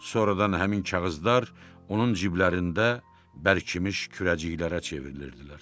Sonradan həmin kağızlar onun ciblərində bərkimiş kürəciklərə çevrilirdilər.